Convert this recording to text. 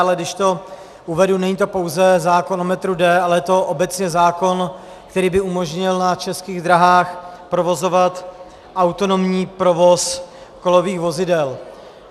Ale když to uvedu, není to pouze zákon o metru D, ale je to obecně zákon, který by umožnil na českých dráhách provozovat autonomní provoz kolových vozidel.